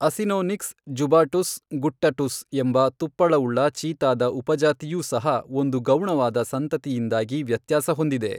Acinonyx jubatus guttatus ಎಂಬ ತುಪ್ಪಳವುಳ್ಳ ಚೀತಾದ ಉಪಜಾತಿಯೂ ಸಹ ಒಂದು ಗೌಣವಾದ ಸಂತತಿಯಿಂದಾಗಿ ವ್ಯತ್ಯಾಸ ಹೊಂದಿದೆ.